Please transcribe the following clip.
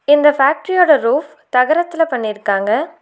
இந்த ஃபேக்டரியோட ரூஃப் தகரத்துல பண்ணிருக்காங்க.